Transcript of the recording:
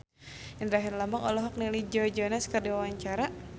Indra Herlambang olohok ningali Joe Jonas keur diwawancara